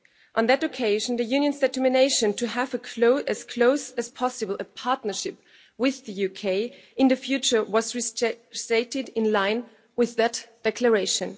On that occasion, the Union's determination to have as close as possible a partnership with the UK in the future was restated in line with that declaration.